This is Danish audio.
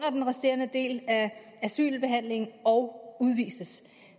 den resterende del af asylbehandlingen og udvises